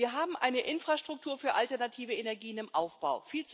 Wir haben eine Infrastruktur für alternative Energien im Aufbau.